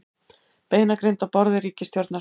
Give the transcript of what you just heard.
Beinagrind á borði ríkisstjórnar